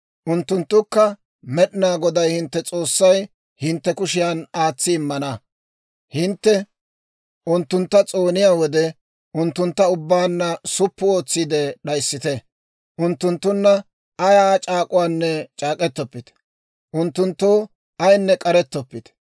unttunttukka Med'inaa Goday hintte S'oossay hintte kushiyan aatsi immina, hintte unttuntta s'ooniyaa wode, unttuntta ubbaanna suppu ootsiide d'ayissite. Unttunttunna ayaa c'aak'k'uwaanne c'aak'k'etoppite. Unttunttoo ayinne k'arettoppite.